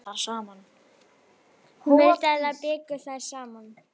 Hún vildi að þær byggju þar saman.